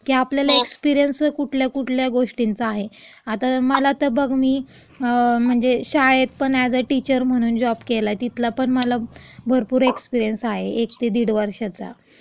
की आपल्याला एक्सपिरिअन्स कुठल्या कुठल्या गोष्टींचा आहे. आता मला आता बघ मी, अ शाळेत पण अॅज अ टीचर म्हणून जॉब केलाय, तिथला पण माझा भरपूर एक्सपिरिअन्स आहे.एक ते दीड वर्षाचा.